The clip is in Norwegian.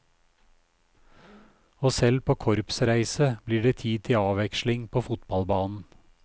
Og selv på korpsreise blir det tid til avveksling på fotballbanen.